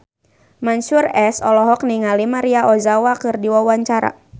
Mansyur S olohok ningali Maria Ozawa keur diwawancara